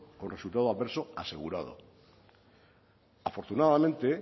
con resultado adverso asegurado afortunadamente